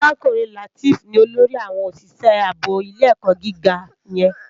Arákúrin Lateef ni ólórì áwòn ósìsè àbó ilé èkò gigá yèn